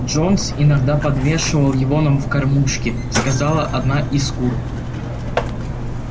джонс иногда подвешивал его нам в кормушки сказала одна из кур